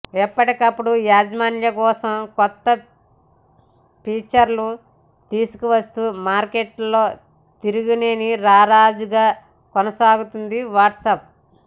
ఎప్పటికప్పుడు యూజర్ల కోసం కొత్త ఫీచర్లు తీసుకువస్తూ మార్కెట్లో తిరుగులేని రారాజుగా కొనసాగుతుంది వాట్సాప్